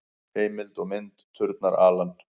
Heimild og mynd: Turnar, Alan.